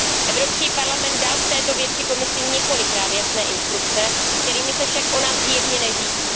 Evropský parlament dal v této věci Komisi několikrát jasné instrukce, kterými se však ona zjevně neřídí.